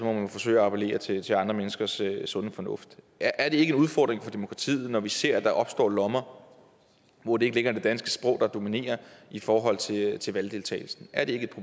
jo forsøge at appellere til til andre menneskers sunde fornuft er det ikke en udfordring for demokratiet når vi ser at der opstår lommer hvor det ikke længere er det danske sprog der dominerer i forhold til til valgdeltagelsen er det